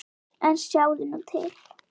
En sjáðu nú til!